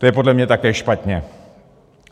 To je podle mě také špatně.